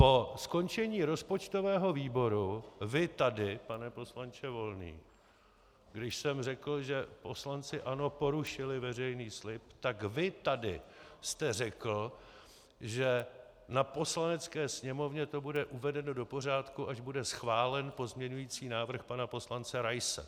Po skončení rozpočtového výboru vy tady, pane poslanče Volný, když jsem řekl, že poslanci ANO porušili veřejný slib, tak vy tady jste řekl, že na Poslanecké sněmovně to bude uvedeno do pořádku, až bude schválen pozměňující návrh pana poslance Raise.